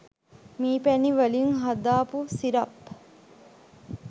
මී පැණි වලින් හදාපු සිරප්